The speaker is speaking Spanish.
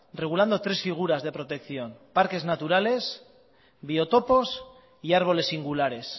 regulando tres figuras de protección parques naturales biotopos y árboles singulares